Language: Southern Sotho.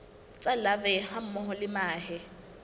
tsa larvae hammoho le mahe